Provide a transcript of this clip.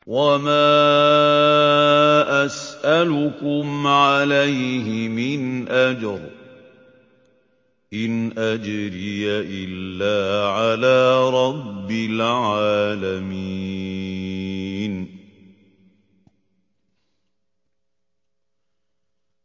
وَمَا أَسْأَلُكُمْ عَلَيْهِ مِنْ أَجْرٍ ۖ إِنْ أَجْرِيَ إِلَّا عَلَىٰ رَبِّ الْعَالَمِينَ